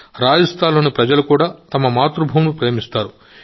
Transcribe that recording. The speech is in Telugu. రాజస్థాన్లోని ప్రజలు కూడా తమ మాతృభూమిని ప్రేమిస్తారు